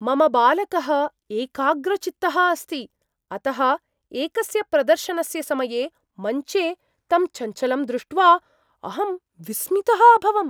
मम बालकः एकाग्रचित्तः अस्ति । अतः एकस्य प्रदर्शनस्य समये मञ्चे तं चञ्चलं दृष्ट्वा अहं विस्मितः अभवम्।